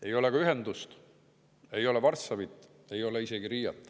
Ei ole ka ühendust, ei saa Varssavisse, ei saa isegi Riiga.